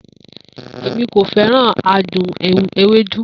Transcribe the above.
Emi ko feran adun ewedu